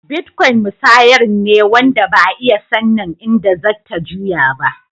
Bitcoin musayar ne wanda Ba'a iya sannin inda zatta juya.